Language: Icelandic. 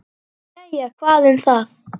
Jæja, hvað um það.